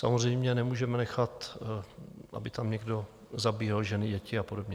Samozřejmě nemůžeme nechat, aby tam někdo zabíjel ženy, děti a podobně.